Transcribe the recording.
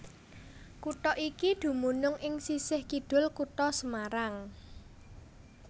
Kutha iki dumunung ing sisih kidul Kutha Semarang